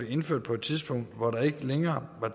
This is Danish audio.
indført på et tidspunkt hvor der ikke længere var